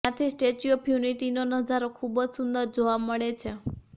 જ્યાંથી statue of યુનિટીનો નજારો ખૂબજ સુંદર જોવા મળે છે